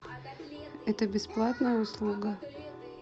это бесплатная услуга